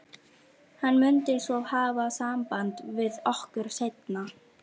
Hann mundi svo hafa samband við okkur seinna.